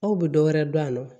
Aw bɛ dɔ wɛrɛ dɔn a la